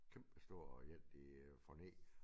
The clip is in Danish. Kæmpestor én de får ned